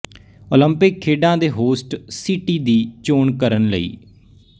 Olympic ਖੇਡਾਂ ਦੇ host city ਦੀ ਚੋਣ ਕਰਨ ਲਈ